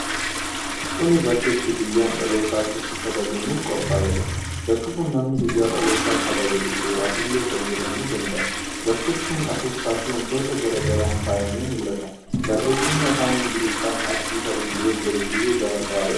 Kuni bakka itti guyyaan dhalootaa akka itti kabajamuuf qophaa'edha. Bakki kun nami guyyaa dhalootaa kabajatu suuraf illee fayyadamuu danda'a. Bakki kun afuuffaa fi wantoota gara garaan faayamee mul'ata. barreefami Afaan Ingiliffaan "Happy Birthday" jedhu illee barraa'ee argama.